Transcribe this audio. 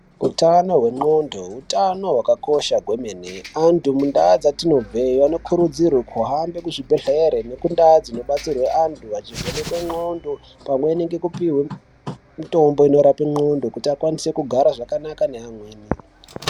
Utano hwexondo hutano hwakakosha kwemene antu mundau dzatinobvee, anokurudzirwa kuhambe kuzvibhedhlere nekundaa dzinodetserwe antu vachivhenekwe xondo pamwe nekupihwe mitombo inorape n'ondo kuti akwanise kugara zvakanaka neamweni.